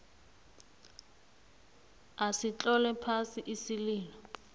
asitlole phasi isililo